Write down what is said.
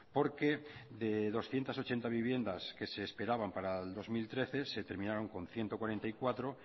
porque de doscientos ochenta viviendas que se esperaban para el dos mil trece se terminaron con ciento cuarenta y cuatro